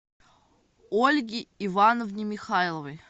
ольге ивановне михайловой